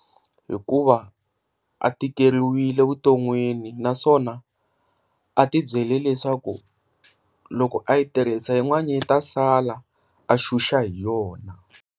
Hikuva a tikeriwile vuton'wini naswona a tibyele leswaku loko a yi tirhisa yin'wana yi ta sala a xuxa hi yona.